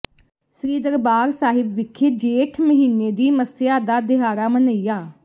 ਸ੍ਰੀ ਦਰਬਾਰ ਸਾਹਿਬ ਵਿਖੇ ਜੇਠ ਮਹੀਨੇ ਦੀ ਮੱਸਿਆ ਦਾ ਦਿਹਾੜਾ ਮਨਇਆ